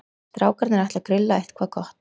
Strákarnir ætla að grilla eitthvað gott.